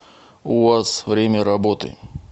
уаз время работы